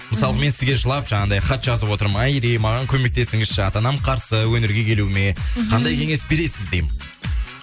мысалы мен сізге жылап жаңағыдай хат жазып отырмын айри маған көмектесіңізші ата анам қарсы өнерге келуіме қандай кеңес бересіз деймін